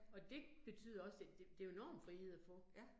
Og det betyder også, at det det jo enorm frihed at få